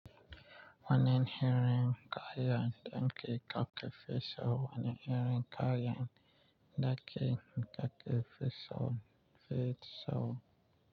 Wani irin ka yan dinki kake fiso wani irin ka yan daki kake fiso fiso.